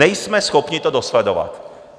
Nejsme schopni to dosledovat."